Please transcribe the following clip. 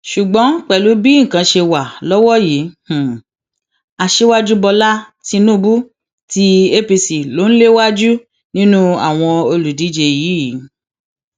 ṣùgbọn pẹlú bí nǹkan ṣe wà lọwọ yìí aṣíwájú bọlá tínúbù tí apc lò ń léwájú nínú àwọn olùdíje yìí